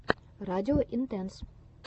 радио интэнс